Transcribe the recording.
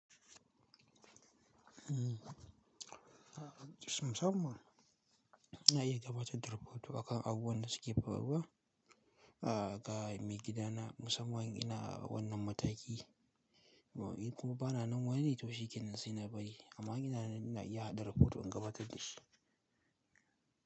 Umm, musamman na iya gabatar da rafoto akan abubuwan da suke faruwa, a ga maigidana musamman ina wannan mataki, in kuma bana nan wani littafi kenan sai na bari amma ina na iya haɗa rafoto in gabatar da shi.